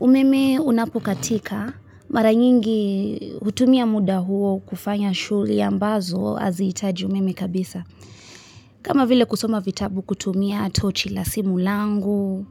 Umeme unapokatika marayingi hutumia muda huo kufanya shughuli ambazo hazi itaji umeme kabisa kama vile kusoma vitabu kutumia tochi la simu langu